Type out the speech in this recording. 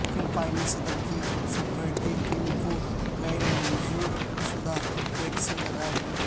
فلپائنی صدر کی سکیورٹی ٹیم کو غیر منظور شدہ ویکسین لگائی گئی